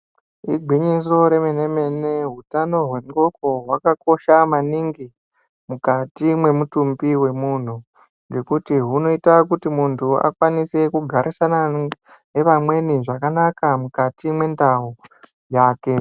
Igwinyiso remene-mene hutano hwehloko hwakakosha maningi mukati memutumbi wemunhu ngekuti hunoita kuti muntu akwanise kugarisana nevamweni zvakanaka mukati mwendau take.